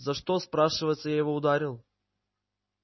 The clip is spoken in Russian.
за что спрашивается я его ударил